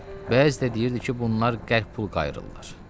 Bəzi də deyirdi ki, bunlar qəlp pul qayırırlar.